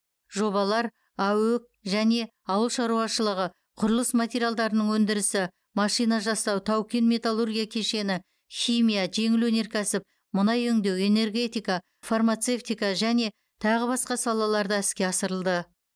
жобалар аөк және ауыл шаруашылығы құрылыс материалдарының өндірісі машинажасау тау кен металлургия кешені химия жеңіл өнеркәсіп мұнай өңдеу энергетика фармацевтика және тағы басқа салаларда іске асырылды